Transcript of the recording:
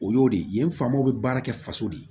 O y'o de ye yen fa mo bɛ baara kɛ faso de ye